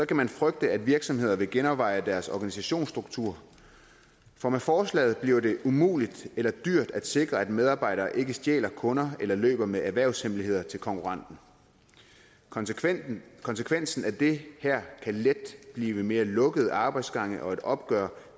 kan man frygte at virksomheder vil genoverveje deres organisationsstruktur for med forslaget bliver det umuligt eller dyrt at sikre at medarbejdere ikke stjæler kunder eller løber med erhvervshemmeligheder til konkurrenten konsekvensen konsekvensen af det her kan let blive mere lukkede arbejdsgange og et opgør